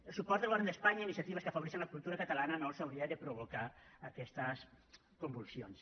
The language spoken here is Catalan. el suport del govern d’espanya a iniciatives que afavoreixen la cultura catalana no els hauria de provocar aquestes convulsions